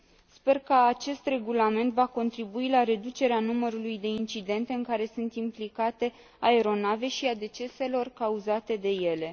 Sper ca acest regulament va contribui la reducerea numărului de incidente în care sunt implicate aeronave și a deceselor cauzate de ele.